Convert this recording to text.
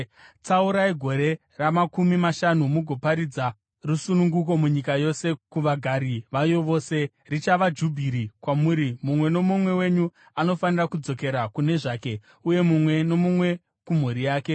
Tsaurai gore ramakumi mashanu mugoparidza rusununguko munyika yose kuvagari vayo vose. Richava Jubhiri kwamuri; mumwe nomumwe wenyu anofanira kudzokera kune zvake, uye mumwe nomumwe kumhuri yake.